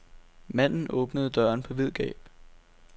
Manden åbnede døren på vid gab.